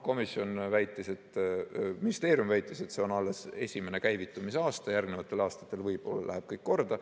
Ministeerium väitis, et see on alles esimene käivitumise aasta, järgnevatel aastatel võib-olla läheb kõik korda.